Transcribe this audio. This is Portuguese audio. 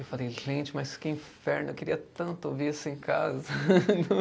Eu falei, gente, mas que inferno, eu queria tanto ouvir isso em casa.